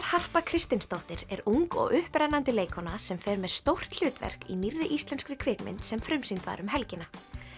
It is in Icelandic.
Harpa Kristinsdóttir er ung og upprennandi leikkona sem fer með stórt hlutverk í nýrri íslenskri kvikmynd sem frumsýnd var um helgina